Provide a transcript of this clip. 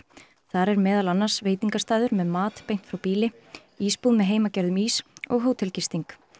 þar er meðal annars veitingastaður með mat beint frá býli ísbúð með heimagerðum ís og hótelgisting